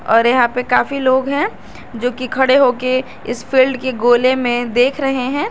और यहां पे काफी लोग हैं जो कि खड़े होके इस फील्ड के गोले में देख रहे हैं